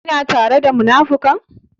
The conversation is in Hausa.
Kina tare da munafukan?